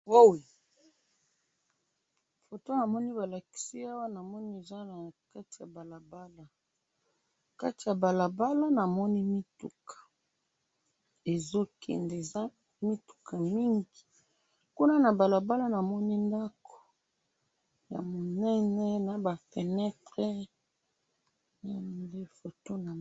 foto namoni balakisi awa namoni eza na kati ya balabala nakati ya balabala namoni mituka ezo kende eza mituka mingi kuna na balabala namoni ndaku ya minene naba fenetre